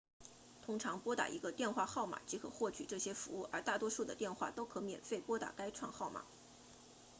通常拨打一个电话号码即可获取这些服务而大多数的电话都可免费拨打该串号码